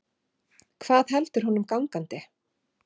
Hvað heldur honum gangandi?